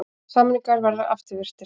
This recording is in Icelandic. Samningar verði afturvirkir